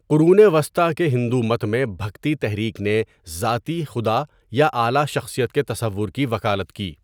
قرون وسطی کے ہندو مت میں بھکتی تحریک نے ذاتی خدا یا اعلیٰ شخصیت کے تصور کی وکالت کی۔